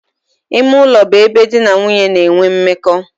Ime ulo bu ebe di na nwunye na-enwe mmeko.